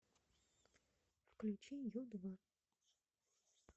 включи ю два